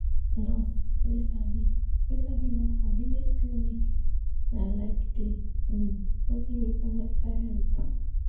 nurse wey sabi wey sabi work for village clinic na like de um only way for medical help.